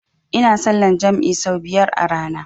Ina sallan jam'i sau biyar a rana